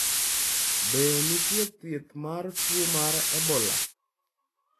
Be nitie thieth mar tuo mar Ebola?